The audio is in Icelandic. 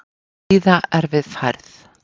Víða erfið færð